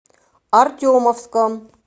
артемовском